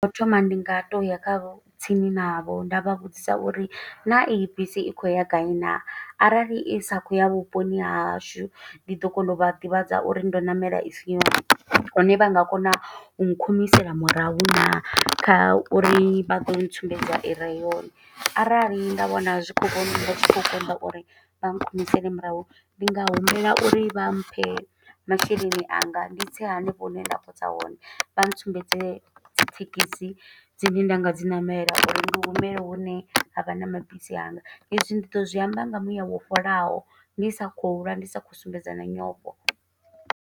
Tsho thoma ndi nga toya khavho, tsini navho nda vha vhudzisa uri naa iyi bisi i khou ya gai naa. Arali i sa khou ya vhuponi ha hashu, ndi ḓo kona u vha ḓivhadza uri ndo ṋamela i si yone. Hone vha nga kona u khumisela murahu naa, kha uri vha do tsumbedza ire yone. Arali nda vhona zwi khou konda uri vha khumisele murahu. Ndi nga humbela uri vha mphe masheleni anga. Ndi tse hanefho hune nda khou tsa hone, vha tsumbedze dzi thekhisi dzine nda nga dzi ṋamela, uri ndi humele hune havha na mabisi anga. I zwi ndi ḓo zwi amba nga muya wo fholaho. Ndi sa khou lwa, ndi sa khou sumbedza na nyofho.